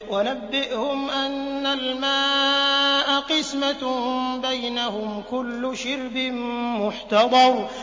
وَنَبِّئْهُمْ أَنَّ الْمَاءَ قِسْمَةٌ بَيْنَهُمْ ۖ كُلُّ شِرْبٍ مُّحْتَضَرٌ